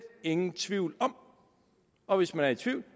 ingen tvivl om og hvis man er i tvivl